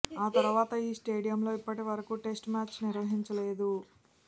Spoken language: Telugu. ఆ తర్వాత ఈ స్టేడియంలో ఇప్పటివరకు టెస్టు మ్యాచ్ నిర్వహించలేదు